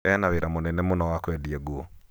ena wĩra mũnene mũno wa kwendia nguo